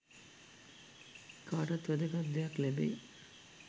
කාටත් වැදගත් දෙයක් ලැබෙයි